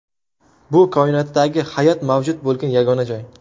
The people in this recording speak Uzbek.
Bu koinotdagi hayot mavjud bo‘lgan yagona joy.